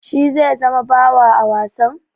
Shi zai zama bawa a wasan?